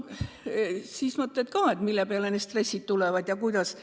Nii mõtledki, mille peale need stressid ikka tekivad.